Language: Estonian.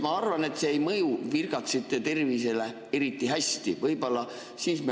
Ma arvan, see ei mõju virgatsi tervisele eriti hästi.